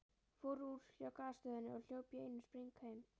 Fór úr hjá Gasstöðinni og hljóp í einum spreng heim.